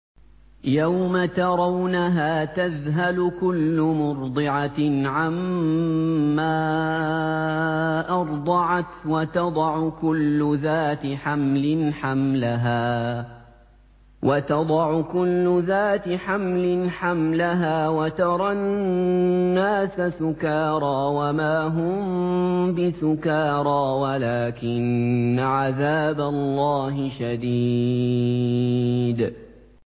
يَوْمَ تَرَوْنَهَا تَذْهَلُ كُلُّ مُرْضِعَةٍ عَمَّا أَرْضَعَتْ وَتَضَعُ كُلُّ ذَاتِ حَمْلٍ حَمْلَهَا وَتَرَى النَّاسَ سُكَارَىٰ وَمَا هُم بِسُكَارَىٰ وَلَٰكِنَّ عَذَابَ اللَّهِ شَدِيدٌ